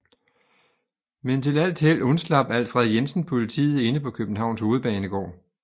Men til alt held undslap Alfred Jensen politiet inde på Københavns Hovedbanegård